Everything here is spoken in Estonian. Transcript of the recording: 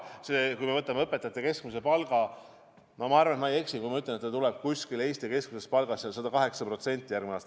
Kui me võtame õpetajate keskmise palga, siis ma arvan, et ma ei eksi, kui ma ütlen, et järgmine aasta see moodustab Eesti keskmise palgaga võrreldes 108%.